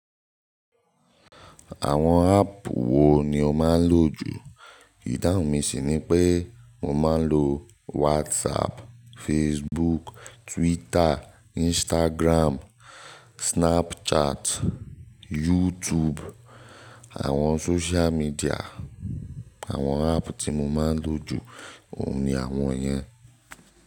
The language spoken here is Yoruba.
Àwọn áàpù wo ni o máa ń lò jù? Ìdáhùn mi sì ni pé mo máa ń lo WhatsApp, Facebook, Twitter, Instagram, Snapchat, YouTube, àwọn social media. Àwọn áàpù tí mo máa ń lò jù òun ni àwọn yẹn.